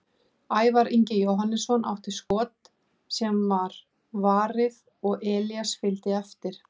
Ævar Ingi Jóhannesson átti skot sem var varið og Elías fylgdi eftir.